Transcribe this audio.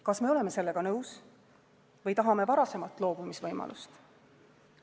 Kas me oleme sellega nõus või tahame varasemat loobumisvõimalust?